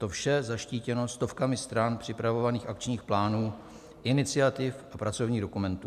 To vše zaštítěno stovkami stran připravovaných akčních plánů, iniciativ a pracovních dokumentů.